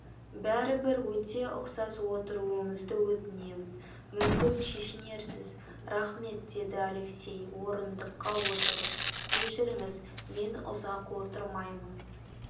бәрібір өте ұқсас отыруыңызды өтінем мүмкін шешінерсіз рахмет деді алексей орындыққа отырып кешіріңіз мен ұзақ отырмаймын